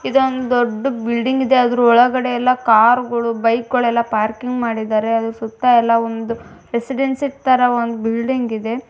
ಇದ್ದು ಒಂದು ದೊಡ್ದು ಬಿಲ್ಡಿಂಗ್ ಇದೆ ಆದ್ರೂ ವೊಳಗಡೆಲ್ಲ ಕಾರ್ ಗಳು ಬೈಕ್ ಗಳು ಎಲ್ಲಾ ಪಾರ್ಕಿಂಗ್ ಮಾಡಿದರೆ ಆದ್ರೂ ಸುತ್ತ ಎಲ್ಲಾ ಒಂದು ರೆಸಿಡೆನ್ಸಿ ತರ ಒಂದು ಬಿಲ್ಡಿಂಗ್ ಇದೆ.